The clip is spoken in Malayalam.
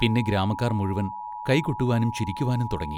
പിന്നെ ഗ്രാമക്കാർ മുഴുവൻ കൈകൊട്ടുവാനും ചിരിക്കുവാനും തുടങ്ങി.